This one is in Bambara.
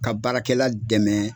Ka baarakɛla dɛmɛ